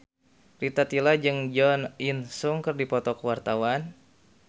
Rita Tila jeung Jo In Sung keur dipoto ku wartawan